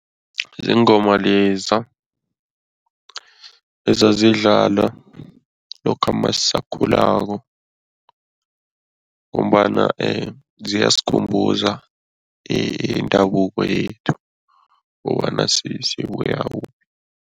Ziingoma leza ezazidlala lokha masisakhulako ngombana ziyasikhumbuza indabuko yethu kobana sibuya kuphi.